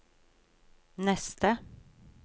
neste